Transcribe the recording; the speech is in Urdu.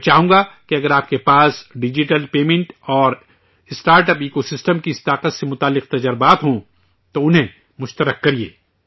میں چاہوں گا کہ اگر آپ کے پاس بھی ڈیجیٹل پیمنٹ اور اسٹارٹ اپ ایکو سسٹم کی اس طاقت سے جڑے تجربات ہیں، تو انہیں شیئر کیجئے